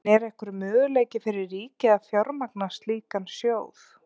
En er einhver möguleiki fyrir ríkið að fjármagna slíkan sjóð?